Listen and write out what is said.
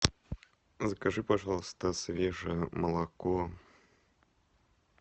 закажи пожалуйста свежее молоко